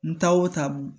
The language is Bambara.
N ta o taabu